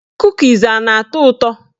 Kukis a na-atọ ụtọ?